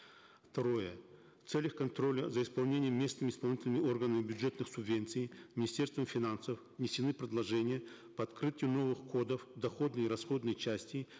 второе в целях контроля за исполнением местными исполнительными органами бюджетных субвенций министерством финансов внесены предложения по открытию новых кодов доходной и расходной части